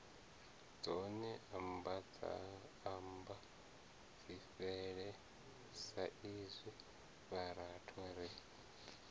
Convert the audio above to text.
dzone ambadzifhele saizwi vhathu ri